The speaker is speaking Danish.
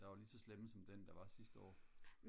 der var lige så slemme som den der var sidste år